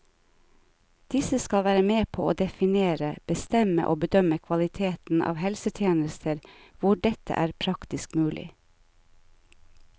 Disse skal være med på å definere, bestemme og bedømme kvaliteten av helsetjenester hvor dette er praktisk mulig.